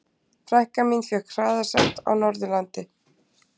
Frænka mín fékk hraðasekt á Norðurlandi.